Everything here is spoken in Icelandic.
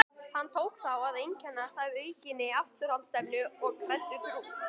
Hann tók þá að einkennast af aukinni afturhaldsstefnu og kreddutrú.